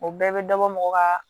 O bɛɛ bɛ dɔbɔ mɔgɔ kaa